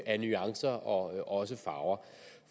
af nuancer og også farver